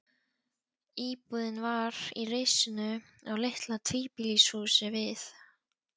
Íbúðin var í risinu á litlu tvíbýlishúsi við